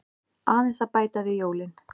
Aðeins að bæta við jólin.